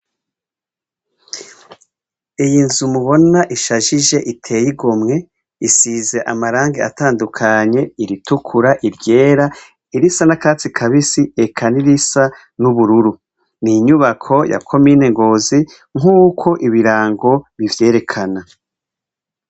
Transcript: Iyi nzu mubona ishajije iteye igomwe isize amarangi atandukanye iritukura, iryera, irisa nakatsi kabisi eka n'irisa nubururu. Ninyubako ya komine ngozi nkuko ibirango bivyerekana.